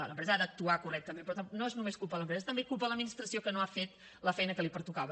l’empresa ha d’actuar correctament però no és només culpa de l’empresa és també culpa de l’administració que no ha fet la feina que li pertocava